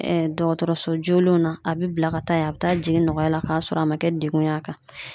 Ɛɛ dɔgɔtɔrɔso jolenw na a be bila ka taa yen a be taa jigin nɔgɔya la k'a sɔrɔ a ma kɛ degun y'a kan